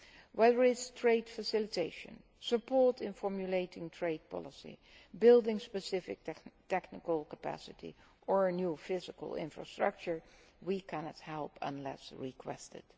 us. Whether it is trade facilitation, support in formulating trade policy, building specific technical capacity or new physical infrastructure, we cannot help unless requested.